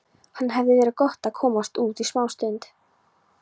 Það hefði verið gott að komast út í smástund.